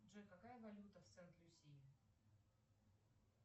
джой какая валюта в сент люсии